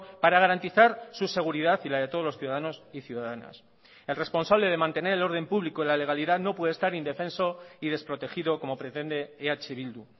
para garantizar su seguridad y la de todos los ciudadanos y ciudadanas el responsable de mantener el orden público y la legalidad no puede estar indefenso y desprotegido como pretende eh bildu